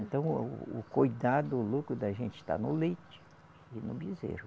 Então o o cuidado, o lucro da gente está no leite e no bezerro.